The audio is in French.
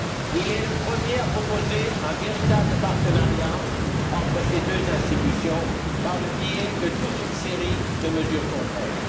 Il est le premier à proposer un véritable partenariat entre ces deux institutions par le biais de toute une série de mesures concrètes.